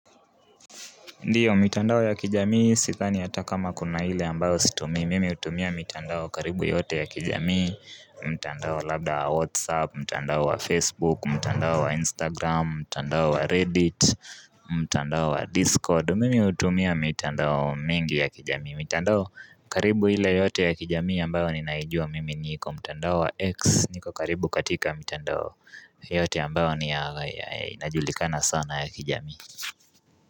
Ndiyo, mitandao ya kijamii sidhani hata kama kuna hile ambayo situmii, mimi hutumia mitandao karibu yote ya kijamii, mtandao labda wa Whatsapp, mtandao wa Facebook, mtandao wa Instagram, mtandao wa Reddit, mtandao wa Discord, mimi hutumia mitandao mengi ya kijamii, mitandao karibu ile yote ya kijamii ambayo ninaijua mimi niko mtandao wa x, niko karibu katika mitandao yote ambayo inajulikana sana ya kijamii.